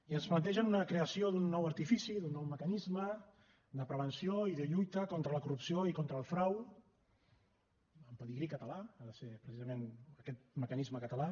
i ens plantegen una creació d’un nou artifici d’un nou mecanisme de prevenció i de lluita contra la corrupció i contra el frau amb pedigrí català ha de ser precisament aquest mecanisme català